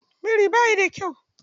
Biri bayi da kyau.